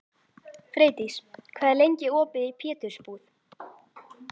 Freydís, hvað er lengi opið í Pétursbúð?